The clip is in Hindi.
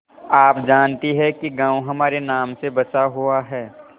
आप जानती हैं कि गॉँव हमारे नाम से बसा हुआ है